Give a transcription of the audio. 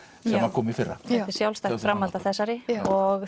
að kom í fyrra þetta er sjálfstætt framhald af þessari og